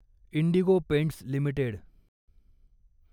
Indigo Paints limited